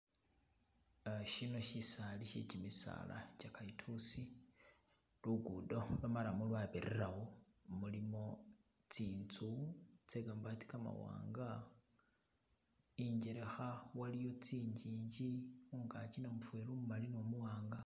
Asia. Shino shisali she kimisala kye kalitusi lugudo lwo marrum rwabiriramo, mulimo tsinzu tse kamabati kamawanga injelekha waliyo kinjinji mungaki namufeli umumali no omuwanga.